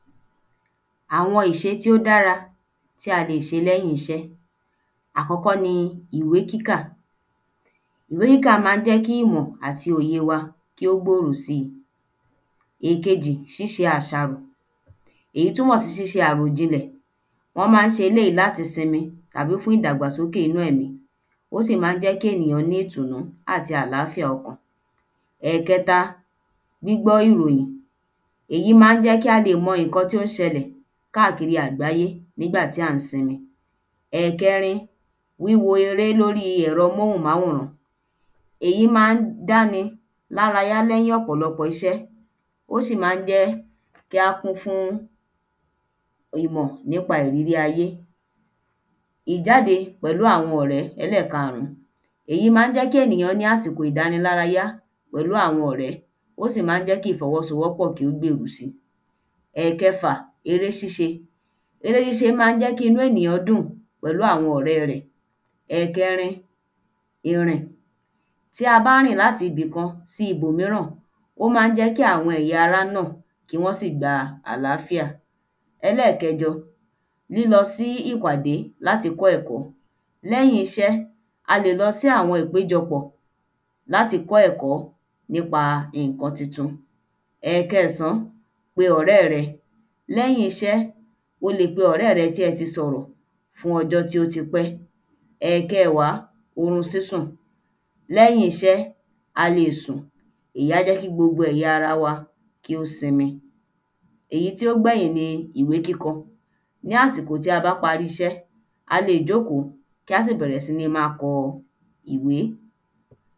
Àwọn ìṣe tí ó dára tí a lè ṣe lẹ́yìn iṣẹ́ àkọ́kọ́ ni ìwé kíkà ìwé kíkà má ń jẹ́ kí ìmọ̀ àti òye wa kí ó gbòrò si èkejì ṣíṣe àṣàrò èyí túnmọ̀ sí ṣíṣe àròjinlẹ̀ wọ́n má ń ṣe eléyí láti sinmi àbí fún ìdàgbàsóké inú ẹ̀mí ó sì má ń jẹ́ kí ènìyàn ní ìtùnú àti àláfíà okàn ẹ̀kẹta gbígbọ́ ìròyìn èyí má ń jẹ́ kí a lè mọ ìnkan tí ó ń ṣẹlẹ̀ káàkiri àgbáyé nígbà tí à ń sinmi ẹ̀kẹrin wíwo eré lórí ẹ̀rọ móhun-máwòrán èyí ma ń dáni lárayá lẹ́yìn ọ̀pọ̀lọpọ̀ iṣẹ́ ó sì má ń jẹ́ kí á kún fún ìmọ̀ nípa ìrírí ayé ìjáde pẹ̀lú àwọn ọ̀rẹ́ ẹlẹ́karún èyí má ń jẹ́ kí ènìyàn ní àsìko ìdánilárayá pẹ̀lú àwọn ọ̀rẹ́ ó sì má ń jẹ́ kí ìfọwọ́sowọ́ pọ̀ kí ó gbèrú si ẹ̀kẹfà eré ṣíṣe eré ṣíṣe má ń jẹ́ kí inú ènìyàn dùn pẹ̀lú àwọn ọ̀rẹ́ rẹ̀ ẹ̀kẹrin ìrìn tí a bá rìn láti ibì kan sí ibòmíràn ó má ń jẹ́ kí àwọn ẹ̀ya ara nà kí wọ́n sì gba àláfíà ẹlẹ́kẹ̀jọ lílọ sí ìpàdé láti kọ́ ẹ̀kọ́ lẹ́yìn iṣẹ́ a lè lo sí àwọn ìpéjọ pọ̀ láti kọ́ ẹ̀kọ́ nípa ìnkan titun ẹ̀kẹẹ̀sán pe ọ̀rẹ́ rẹ lẹ́yìn iṣẹ́ o lè pe ọ̀rẹ́ẹ tí ẹ ti sòrọ̀ fún ọjọ́ tí ó ti pẹ́ ẹ̀kẹẹ̀wá orun sísùn lẹ́yìn iṣẹ́ a lè è sùn ìyí á jẹ́ kí gbogbo ẹ̀ya ara wa kí ó sinmi èyí tí ó gbẹ̀yìn ni ìwé kíkọ ní àsìkò tí a bá parí iṣẹ́ a lè jókó kí á sì bẹ̀rẹ̀ síní má a kọ ìwé